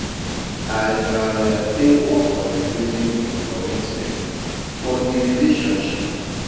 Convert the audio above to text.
I um dey work on rebuilding di commitment for di relationship.